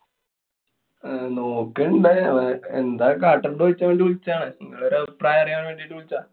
അഹ് നോക്കണുണ്ട്. അഹ് എന്താ കാട്ടണ്ട് ചോയ്ച്ചാന്‍ വേണ്ടി വിളിച്ചാണ്. ങ്ങളൊരു അഭിപ്രായം അറിയാന്‍ വേണ്ടിട്ട് വിളിച്ചാ.